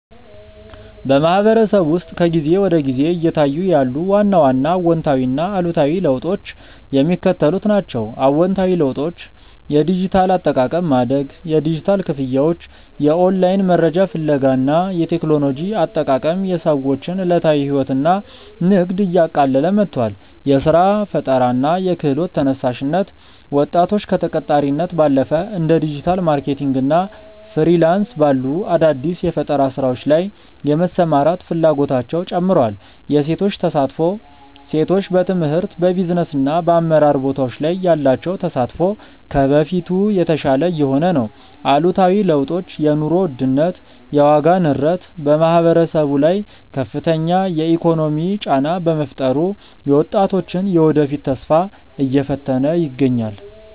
በማህበረሰቡ ውስጥ ከጊዜ ወደ ጊዜ እየታዩ ያሉ ዋና ዋና አዎንታዊና አሉታዊ ለውጦች የሚከተሉት ናቸው፦ አዎንታዊ ለውጦች የዲጂታል አጠቃቀም ማደግ፦ የዲጂታል ክፍያዎች፣ የኦንላይን መረጃ ፍለጋ እና የቴክኖሎጂ አጠቃቀም የሰዎችን ዕለታዊ ሕይወትና ንግድ እያቀለለ መጥቷል። የሥራ ፈጠራና የክህሎት ተነሳሽነት፦ ወጣቶች ከተቀጣሪነት ባለፈ እንደ ዲጂታል ማርኬቲንግ እና ፍሪላንስ ባሉ አዳዲስ የፈጠራ ሥራዎች ላይ የመሰማራት ፍላጎታቸው ጨምሯል። የሴቶች ተሳትፎ፦ ሴቶች በትምህርት፣ በቢዝነስና በአመራር ቦታዎች ላይ ያላቸው ተሳትፎ ከበፊቱ የተሻለ እየሆነ ነው። አሉታዊ ለውጦች የኑሮ ውድነት፦ የዋጋ ንረት በማህበረሰቡ ላይ ከፍተኛ የኢኮኖሚ ጫና በመፍጠሩ የወጣቶችን የወደፊት ተስፋ እየፈተነ ይገኛል።